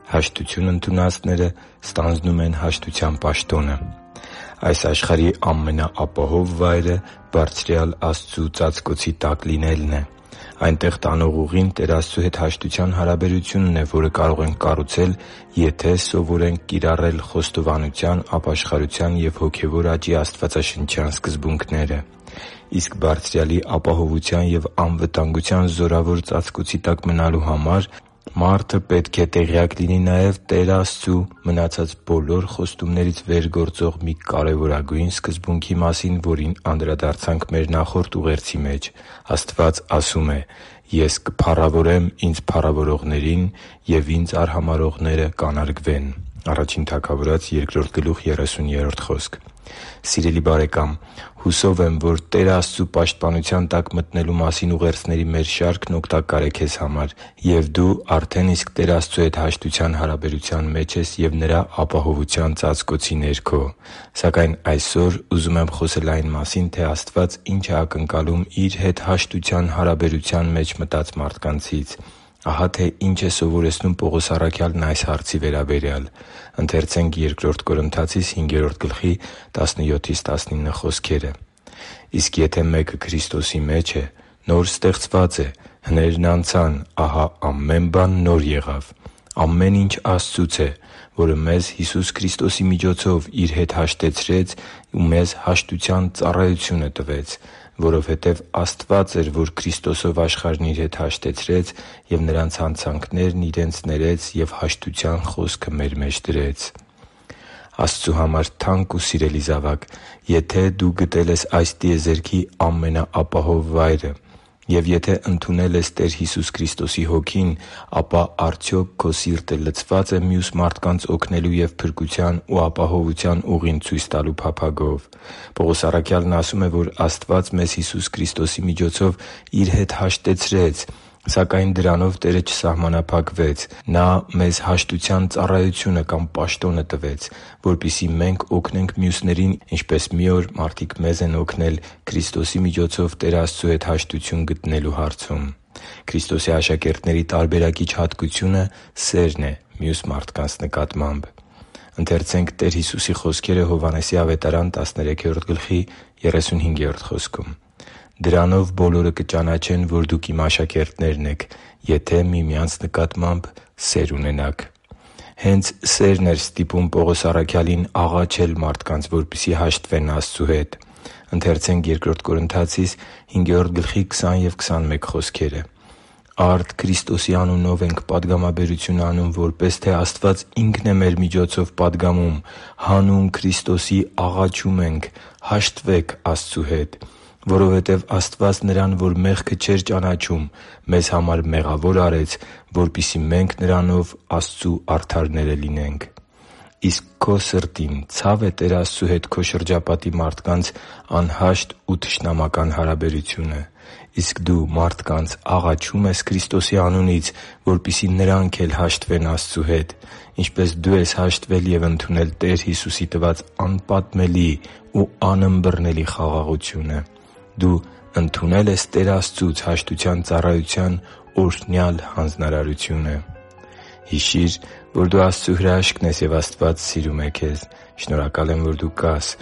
Հաշտություն ընդունածները ստանձնում են հաշտության պաշտոնը Այս աշխարհի ամենաապահով վայրը Բարձրյալ Աստծու ծածկոցի տակ լինելն է։ Այնտեղ տանող ուղին Տեր Աստծու հետ հաշտության հարաբերությունն է, որը կարող ենք կառուցել, եթե սովորենք կիրառել խոստովանության, ապաշխարության և հոգևոր աճի աստվածաշնչյան սկզբունքները։ Իսկ Բարձրյալի ապահովության և անվտանգության զորավոր ծածկոցի տակ մնալու համար մարդը պետք է տեղյակ լինի նաև Տեր Աստծու մնացած բոլոր խոստումներից վեր գործող մի կարևորագույն սկզբունքի մասին, որին անդրադարձանք մեր նախորդ ուղերձի մեջ։ Աստված ասում է․ «Ես կփառավորեմ Ինձ փառավորողներին, և Ինձ արհամարհողները կանարգվեն» (Ա Թագավորաց 2․30): Սիրելի՛ բարեկամ, հուսով եմ, որ Տեր Աստծու պաշտպանության տակ մտնելու մասին ուղերձների մեր շարքն օգտակար է քեզ համար, և դու արդեն իսկ Տեր Աստծու հետ հաշտության հարաբերության մեջ ես և Նրա ապահովության ծածկոցի ներքո։ Սակայն այսօր ուզում եմ խոսել այն մասին, թե Աստված ինչ է ակնկալում Իր հետ հաշտության հարաբերության մեջ մտած մարդկանցից։ Ահա թե ինչ է սովորեցնում Պողոս առաքյալն այս հարցի վերաբերյալ։ «Իսկ եթե մեկը Քրիստոսի մեջ է, նոր ստեղծված է. հներն անցան, ահա ամեն բան նոր եղավ։ Ամեն ինչ Աստծուց է, որը մեզ Հիսուս Քրիստոսի միջոցով Իր հետ հաշտեցրեց ու մեզ հաշտության ծառայությունը տվեց։ Որովհետև Աստված էր, որ Քրիստոսով աշխարհն Իր հետ հաշտեցրեց և նրանց հանցանքներն իրենց ներեց և հաշտության խոսքը մեր մեջ դրեց» (Բ Կորնթացիս 5․17-19): Աստծու համար թանկ ու սիրելի՛ զավակ, եթե դու գտել ես այս տիեզերքի ամենաապահով վայրը և եթե ընդունել ես Տեր Հիսուս Քրիստոսի Հոգին, ապա արդյոք քո սիրտը լցվա՞ծ է մյուս մարդկանց օգնելու և փրկության ու ապահովության ուղին ցույց տալու փափագով։ Պողոս առաքյալն ասում է, որ Աստված մեզ Հիսուս Քրիստոսի միջոցով Իր հետ հաշտեցրեց, սակայն դրանով Տերը չսահմանափակվեց։ Նա մեզ հաշտության ծառայությունը կամ պաշտոնը տվեց, որպեսզի մենք օգնենք մյուսներին, ինչպես մի օր մեզ են օգնել Քրիստոսի միջոցով Տեր Աստծու հետ հաշտություն գտնելու հարցում։ Քրիստոսի աշակերտների տարբերակիչ հատկությունը սերն է մյուս մարդկանց հանդեպ․ «Դրանով բոլորը կճանաչեն, որ դուք Իմ աշակերտներն եք, եթե միմյանց նկատմամբ սեր ունենաք» (Հովհաննես 13.35): Հենց սերն էր ստիպում Պողոս առաքյալին աղաչել մարդկանց, որպեսզի հաշտվեն Աստծու հետ․ «Արդ Քրիստոսի անունով ենք պատգամաբերություն անում, որպես թե Աստված Ինքն է մեր միջոցով պատգամում. հանուն Քրիստոսի աղաչում ենք, հաշտվե՛ք Աստծու հետ։ Որովհետև Աստված նրան, որ մեղքը չէր ճանաչում, մեզ համար մեղավոր արեց, որպեսզի մենք նրանով Աստծու արդարները լինենք» (Բ Կորնթացիս 5․20-21): Իսկ քո սրտին ցա՞վ է Տեր Աստծու հետ քո շրջապատի մարդկանց անհաշտ ու թշնամական հարաբերությունը։ Իսկ դու մարդկանց աղաչո՞ւմ ես Քրիստոսի անունից, որպեսզի նրանք էլ հաշտվեն Աստծու հետ, ինչպես դու ես հաշտվել և ընդունել Տեր Հիսուսի տված անպատմելի ու անըմբռնելի խաղաղությունը։ Դու ընդունե՞լ ես Տեր Աստծուց հաշտության ծառայության օրհնյալ հանձնարարությունը․․․ Հիշի՛ր, որ դու Աստծո հրաշքն ես, և Աստված սիրում է քեզ։ Շնորհակալ եմ, որ դու կա՛ս